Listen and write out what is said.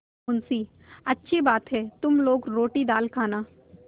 मुंशीअच्छी बात है तुम लोग रोटीदाल खाना